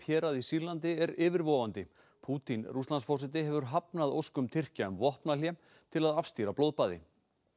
hérað í Sýrlandi er yfirvofandi Pútín Rússlandsforseti hefur hafnað óskum Tyrkja um vopnahlé til að afstýra blóðbaði